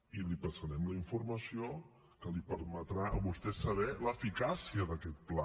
i li passarem la informació que li permetrà a vostè saber l’eficàcia d’aquest pla